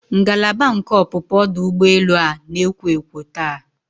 Ngalaba nke ọpụpụ ọdụ ụgbọ elu a na-ekwo ekwo taa.